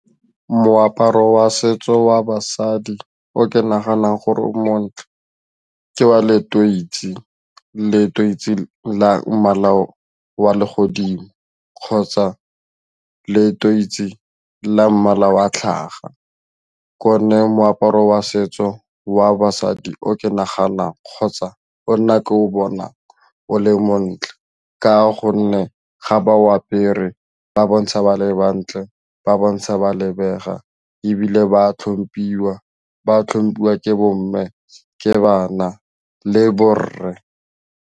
Moaparo wa setso wa basadi o ke naganang gore o montle ka wa leteisi, leteisi la mmala wa legodimo kgotsa leteisi la mmala wa tlhaga ke one moaparo wa setso wa basadi o ke naganang kgotsa o nna ke o bonang o le montle ka gonne ga ba o apere ba bontsha ba le ba ntle ba bontsha ba lebega ebile ba tlhomphiwa ke bo mme ke bana le borre.